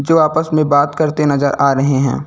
जो आपस में बात करते नजर आ रहे हैं।